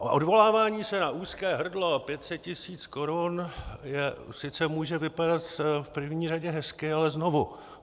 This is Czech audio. Odvolávání se na úzké hrdlo 500 tisíc korun sice může vypadat v první řadě hezky, ale znovu.